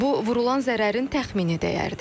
Bu vurulan zərərin təxmini dəyərdir.